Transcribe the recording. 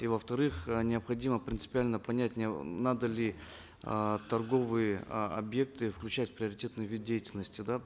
и во вторых э необходимо принципиально понять надо ли э торговые э объекты включать в приоритетный вид деятельности да